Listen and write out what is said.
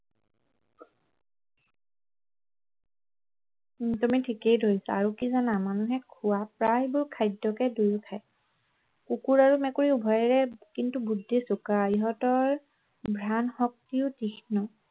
তুমি ঠিকেই ধৰিছা আৰু কি জানা মানুহে খোৱা প্ৰায়বোৰ খাদ্যকে দুয়োৱে খায় কুকুৰ আৰু মেকুৰী উভয়ৰে কিন্তু বুদ্ধি চোকা ইহঁতৰ ইহঁতৰ ঘ্ৰাণ শক্তিও তীঘ্ন